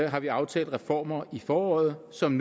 har vi aftalt reformer i foråret som